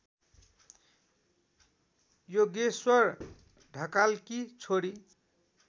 योगेश्वोर ढकालकी छोरी